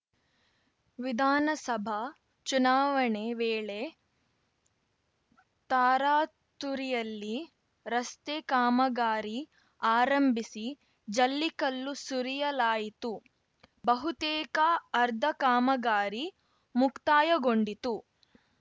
ವಿಧಾನಸಭಾ ಚುನಾವಣೆ ವೇಳೆ ತಾರಾತುರಿಯಲ್ಲಿ ರಸ್ತೆ ಕಾಮಗಾರಿ ಆರಂಭಿಸಿ ಜಲ್ಲಿಕಲ್ಲು ಸುರಿಯಲಾಯಿತು ಬಹುತೇಕ ಅರ್ಧ ಕಾಮಗಾರಿ ಮುಕ್ತಾಯಗೊಂಡಿತ್ತು